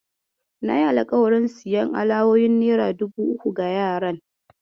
Nayi alƙawarin siyan alawowin nera dubu uku ga yaran.